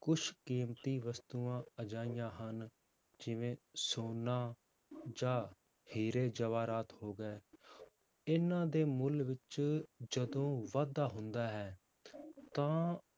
ਕੁਛ ਕੀਮਤੀ ਵਸਤੂਆਂ ਅਜਿਹੀਆਂ ਹਨ, ਜਿਵੇਂ ਸੋਨਾ ਜਾਂ ਹੀਰੇ ਜਵਾਹਰਾਤ ਹੋ ਗਏ, ਇਹਨਾਂ ਦੇ ਮੁੱਲ ਵਿੱਚ ਜਦੋਂ ਵਾਧਾ ਹੁੰਦਾ ਹੈ ਤਾਂ